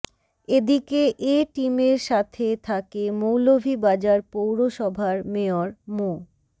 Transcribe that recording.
এদিকে এ টিমের সাথে থাকে মৌলভীবাজার পৌরসভার মেয়র মো